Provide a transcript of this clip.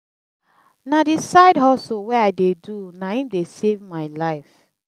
na the side hustle wey i dey do na im dey save my life